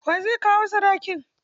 Wa zai kawo sadaki?